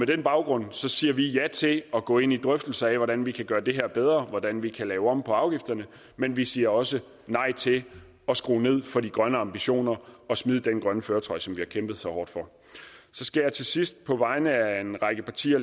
den baggrund siger vi ja til at gå ind i drøftelser af hvordan vi kan gøre det her bedre hvordan vi kan lave om på afgifterne men vi siger også nej til at skrue ned for de grønne ambitioner og smide den grønne førertrøje som vi har kæmpet så hårdt for så skal jeg til sidst på vegne af en række partier